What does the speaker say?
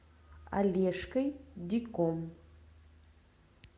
олежкой диком